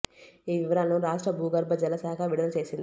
ఈ వివరాలను రాష్ట్ర భూగర్భ జల శాఖ విడుదల చేసింది